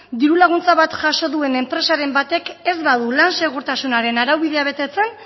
diru laguntza bat jaso duen enpresaren batek ez badu lan segurtasunaren araubidea betetzen